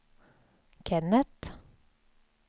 Kennet